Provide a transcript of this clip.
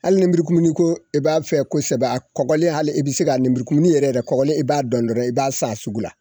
Hali lenbururukumuni ko e b'a fɛ kosɛbɛ a kɔgɔlen hali e bɛ se ka lenburukumuni yɛrɛ kɔrɔlen i b'a dɔn dɔrɔn i b'a san a sugu la